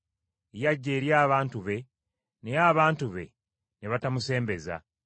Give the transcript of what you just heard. Yajja eri abantu be, naye abantu be ne batamusembeza.